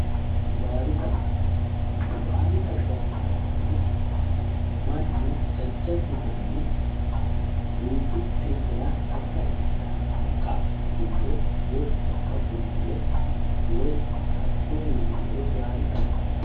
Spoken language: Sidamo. Baadi xagga, baadi xagga yinnanniti mannu jajjabbu manni duuchu xibbira haqqa woyi haqqu bulbule dara baadi xagga.